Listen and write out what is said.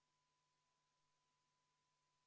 Pole harjunud, aga püüame edasi minna.